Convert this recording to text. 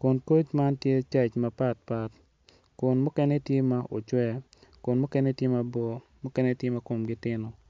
kun koc man tye caij mapat pat kun mukene tye ma ocwe mukene tye mabor mukene tye ma kommgi tino.